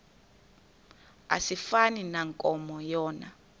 asifani nankomo yona